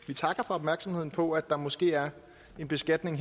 vi takker for opmærksomheden på at der måske her er en beskatning